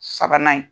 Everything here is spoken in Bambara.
Sabanan ye